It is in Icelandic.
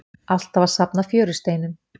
Alltaf að safna fjörusteinum.